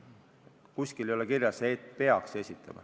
Kuskil ei ole kirjas, et peaks esitama.